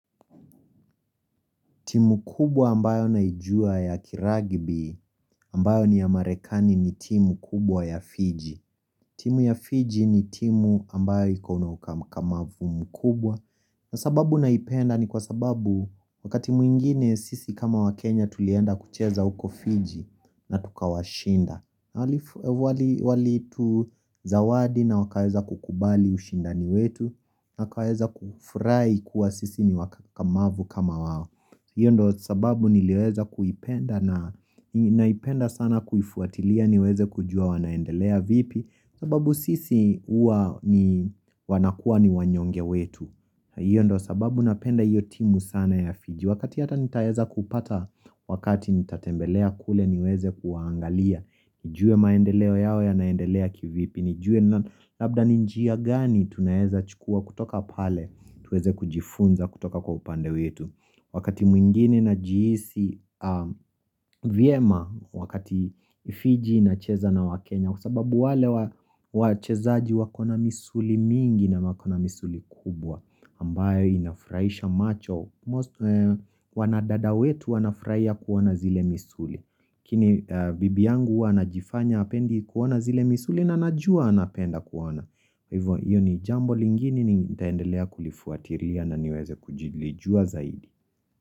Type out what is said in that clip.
Timu kubwa ambayo naijua ya kiragibi ambayo ni ya Marekani ni timu kubwa ya Fiji. Timu ya Fiji ni timu ambayo yiko iko na ukakamavu mkubwa. Na sababu naipenda ni kwa sababu wakati mwingine sisi kama wa Kenya tulienda kucheza uko Fiji na tukawashinda. Nawalitu zawadi na wakaweza kukubali ushindani wetu na wakaweza kufurahi kuwa sisi ni wakakamavu kama wao. Iyo ndo sababu nilkweza kuipenda na naipenda sana kuifuatilia niweze kujua wanaendelea vipi sababu sisi uwa ni wanakua ni wanyonge wetu Iyo ndo sababu napenda iyo timu sana ya fiji Wakati ata nitaweza kupata wakati nitatembelea kule niweze kuangalia nijue maendeleo yao ya naendelea kivipi nijue labda ni njia gani tunaweza chukua kutoka pale tuweze kujifunza kutoka kwa upande wetu Wakati mwingine najihisi vyema wakati Fiji inacheza na wakenya Kwa sababu wale wachezaaji wako na misuli mingi na wako na misuli kubwa ambayo inafurahisha macho Wanadada wetu wanafurahia kuona zile misuli lakini bibi yangu huwa ana jifanya apendi kuona zile misuli na anajua anapenda kuwana Iyo ni jambo lingine nitaendelea kulifuatilia na niweze kuilijua zaidi.